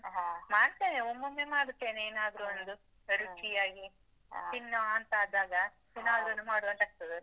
ಮಾಡ್ತೇನೆ, ಒಮ್ಮೊಮ್ಮೆ ಮಾಡುತ್ತೇನೆ ಏನಾದ್ರು ಒಂದು ರುಚಿಯಾಗಿ. ತಿನ್ನುವಂತಾ ಆದಾಗ ಏನಾದ್ರು ಒಂದು ಮಾಡುವಂತಾ ಆಗ್ತದಲ್ಲ?